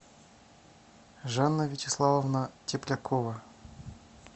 жанна вячеславовна теплякова